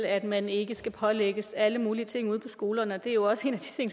at man ikke skal pålægges alle mulige ting ude på skolerne det er jo også en